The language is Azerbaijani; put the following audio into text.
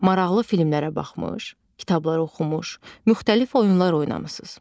Maraqlı filmlərə baxmış, kitablar oxumuş, müxtəlif oyunlar oynamışsınız.